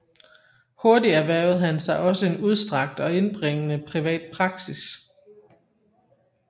Hurtig erhvervede han sig også en udstrakt og indbringende privat praksis